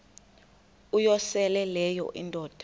uyosele leyo indoda